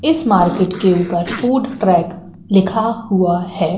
इस मार्केट के ऊपर फूड ट्रेक लिखा हुआ है।